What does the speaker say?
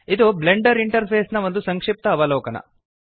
ಇದು Blender interface ನ ಒಂದು ಸಂಕ್ಷಿಪ್ತ ಅವಲೋಕನ